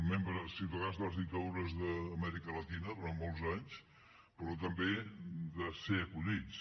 membres ciutadans de les dictadures d’amèrica llatina durant molts anys però també de ser acollits